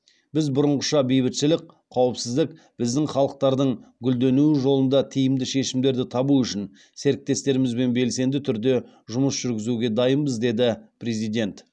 біз бұрынғыша бейбітшілік қауіпсіздік біздің халықтардың гүлденуі жолында тиімді шешімдерді табу үшін серіктестерімізбен белсенді түрде жұмыс жүргізуге дайынбыз деді президент